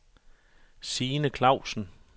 Signe Klausen